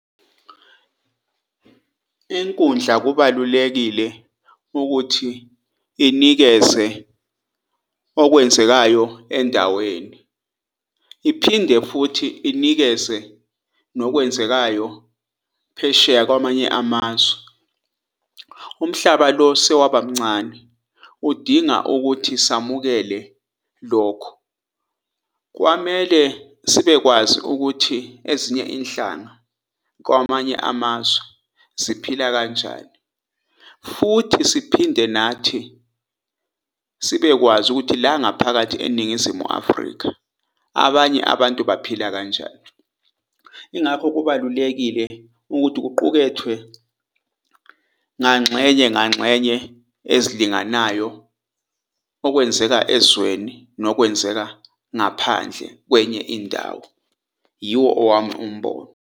Inkundla kubalulekile ukuthi inikeze okwenzekayo endaweni, iphinde futhi inikeze nokwenzekayo phesheya kwamanye amazwe. Umhlaba lo sewaba mncane udinga ukuthi samukele lokho. Kwamele sibekwazi ukuthi ezinye inhlanga kwamanye amazwe ziphila kanjani futhi siphinde nathi sibekwazi ukuthi la ngaphakathi eNingizimu Afrika, abanye abantu baphila kanjani. Ingakho kubalulekile ukuthi kuqukethwe ngangxenye ngangxenye ezilinganayo okwenzeka ezweni nokwenzeka ngaphandle kwenye indawo. Yiwo owami umbono.